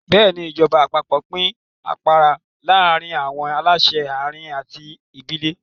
Bẹ́ẹ̀ni, ìjọba àpapọ̀ pín agbára láàárín àwọn aláṣẹ àárín àti ìbílẹ̀.